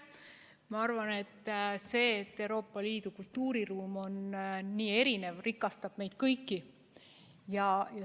Ma arvan, et see, et Euroopa Liidu kultuuriruum on nii erinev, rikastab meid kõiki.